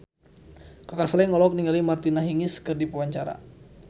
Kaka Slank olohok ningali Martina Hingis keur diwawancara